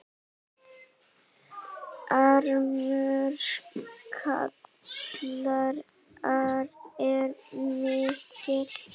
Harmur ykkar er mikill.